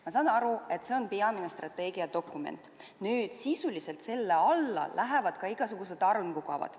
Ma saan aru, et see on peamine strateegiadokument, aga sisuliselt lähevad selle alla ka igasugused arengukavad.